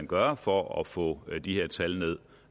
gøre for at få de her tal ned